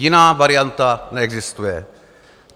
Jiná varianta neexistuje.